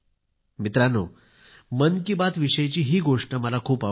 मित्रांनो मन की बात विषयी हीच गोष्ट मला खूप आवडते